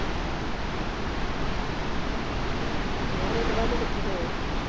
ਮੈਂ ਵੀ ਕਿਹਾ ਕਿੱਥੇ ਗਏ?